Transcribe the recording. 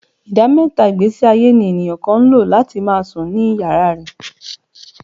Ìdá mẹ́ta ìgbésíayé ní èèyàn kan ń lò. láti máa sùn ní yàrá rẹ̀